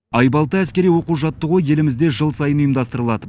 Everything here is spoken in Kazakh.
айбалта әскери оқу жаттығуы елімізде жыл сайын ұйымдастырылады